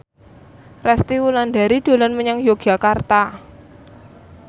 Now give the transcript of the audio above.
Resty Wulandari dolan menyang Yogyakarta